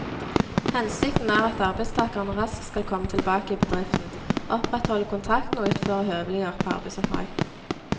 Hensikten er at arbeidstakeren raskt skal komme tilbake i bedriften, opprettholde kontakten og utføre høvelige arbeidsoppdrag.